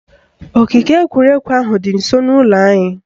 Ogige egwuregwu ahụ dị nsọ n'ụlọ anyị